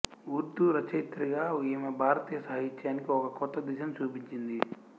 ఉర్దూ రచయిత్రిగా ఈమె భారతీయ సాహిత్యానికి ఒక కొత్త దిశను చూపించింది